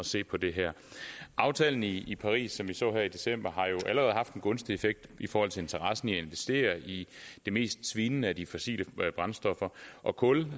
se på det her aftalen i i paris som vi så her i december har jo allerede haft en gunstig effekt i forhold til interessen i at investere i de mest svinende af de fossile brændstoffer og kul